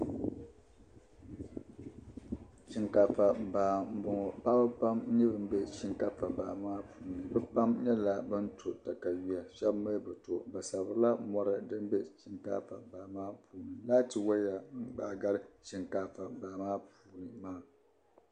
Shinkaafa baa mbɔŋɔ paɣ'ba pam m bɛ shinkaafa baa maa puuni bɛ pam nyɛla ban to takayuya shɛba mi bi to sibirila mɔri din bɛ shinkaafa baa maa puuni laati waya baagari shinkaafa baa maa puuni.